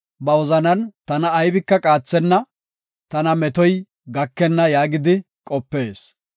Ba wozanan, “Tana aybika qaathenna tana metoy gakenna” yaagidi qopees.